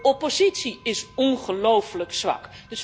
De oppositie is ongelooflijk zwak.